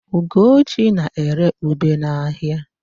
Ugochi na-ere ube n'ahịa.